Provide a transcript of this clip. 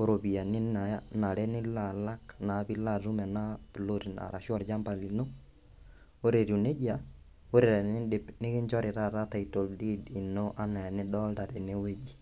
oropiyiani nae nanare nilo alak naa pilo atum ena ploti ino arashu olchamba lino ore etiu nejia ore tenindip nekinchori taata title deed ino enaa enidolta tenewueji.